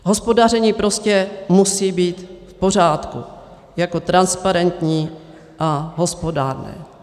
Hospodaření prostě musí být v pořádku jako transparentní a hospodárné.